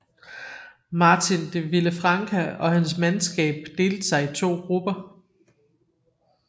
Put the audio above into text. Martin de Villafranca og hans mandskab delte sig i to grupper